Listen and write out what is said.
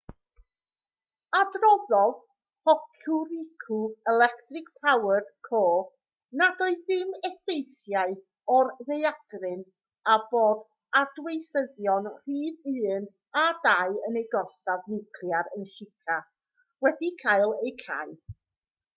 adroddodd hokuriku electric power co nad oedd dim effeithiau o'r ddaeargryn a bod adweithyddion rhif 1 a 2 yn eu gorsaf niwclear yn shika wedi cael eu cau